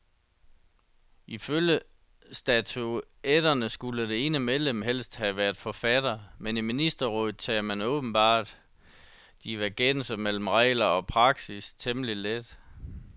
Ifølge statutterne skulle det ene medlem helst have været forfatter, men i ministerrådet tager man åbenbart divergenser mellem regler og praksis temmelig let.